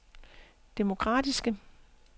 demokratiske